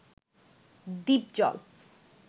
Dipjol